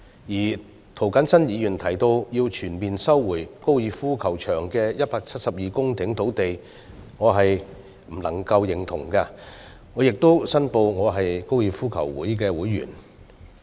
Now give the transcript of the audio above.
至於涂謹申議員提到要全面收回粉嶺高爾夫球場的172公頃土地，恕我無法苟同，而我亦要申報我是香港哥爾夫球會的會員。